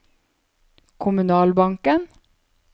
kommunalbanken